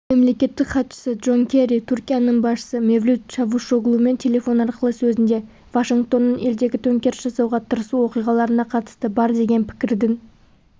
мемлекеттік хатшысы джон керри түркияның басшысы мевлют чавушоглумен телефон арқылы сөзінде вашингтонның елдегі төңкеріс жасауға тырысу оқиғаларына қатысы бар деген пікірдің